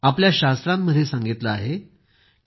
आपल्या शास्त्रांमध्ये सांगितलं आहे की